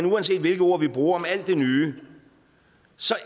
men uanset hvilke ord vi bruger om alt det nye